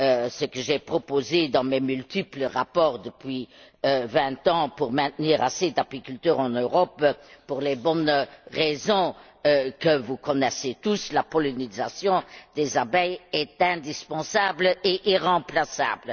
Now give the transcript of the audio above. Ce que j'ai proposé dans mes multiples rapports depuis vingt ans pour maintenir assez d'apiculteurs en Europe, c'est pour les bonnes raisons que vous connaissez tous la pollinisation des abeilles est indispensable et irremplaçable!